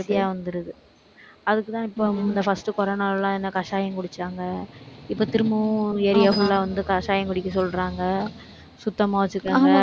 easy ஆ வந்துருது. அதுக்குதான், இப்ப இந்த first corona ல எல்லாம் என்ன கஷாயம் குடிச்சாங்க இப்ப திரும்பவும் area full ஆ வந்து கஷாயம் குடிக்க சொல்றாங்க. சுத்தமா வச்சுக்கங்க.